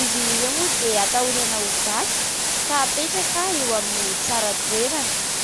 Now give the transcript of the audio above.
Izy ireo moa dia atahorana ho vaky ka apetraka eo amin'ny tsara toerana.